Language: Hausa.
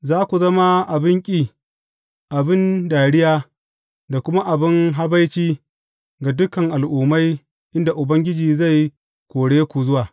Za ku zama abin ƙi, abin dariya, da kuma abin habaici ga dukan al’ummai inda Ubangiji zai kore ku zuwa.